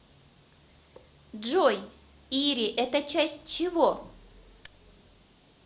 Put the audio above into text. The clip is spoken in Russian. джой ири это часть чего